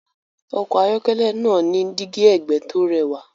Ọkọ̀ ayọ́kẹ́lẹ́ náà ní dígí ẹ̀gbẹ́ tó rẹwà.